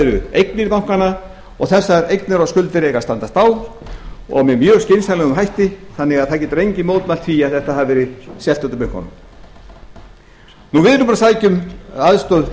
eru eignir bankanna og þessar eignir og skuldir eiga að standast á og með mjög skynsamlegum hætti þannig að það getur enginn mótmælt því að þetta hafi verið bönkunum við erum búin að sækja um aðstoð